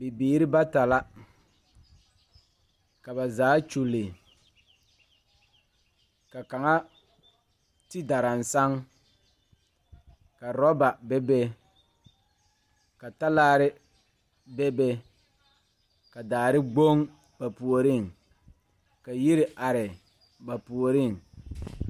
Bibiiri bata la ka ba zaa kyulli ka kaŋa ti daransaŋ ka orɔba bebe ka talaare bebe ka daare gboŋ ba puoriŋ ka yiri are ba puoriŋ.